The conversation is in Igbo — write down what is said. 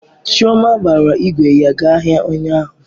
Chioma gbara ígwè ya gaa ahịa ụnyaahụ.